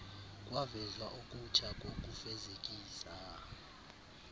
kwavezwa okutsha kokufezekisa